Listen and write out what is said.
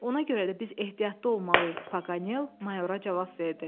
Ona görə də biz ehtiyatlı olmalıyıq, Paganel mayora cavab verdi.